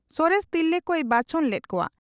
ᱥᱚᱨᱮᱥ ᱛᱤᱨᱞᱟᱹ ᱠᱚᱭ ᱵᱟᱪᱷᱚᱱ ᱞᱮᱫ ᱠᱚᱣᱟ ᱾